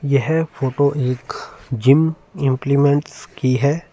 यह है फोटो एक जिम इम्प्लिमेंट्स की है।